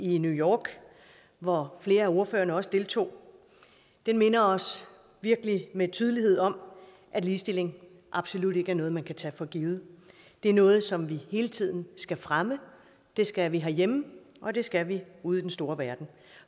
i new york hvor flere af ordførerne også deltog minder os virkelig med tydelighed om at ligestilling absolut ikke er noget man kan tage for givet det er noget som vi hele tiden skal fremme det skal vi herhjemme og det skal vi ude i den store verden